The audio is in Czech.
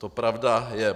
To pravda je.